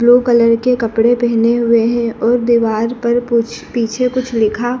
blue colour के कपड़े पहने हुए हैं और दीवार पर कुछ पीछे कुछ लिखा--